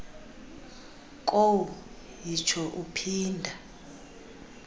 kowu yitsho uphinda